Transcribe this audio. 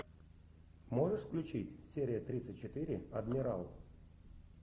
можешь включить серия тридцать четыре адмирал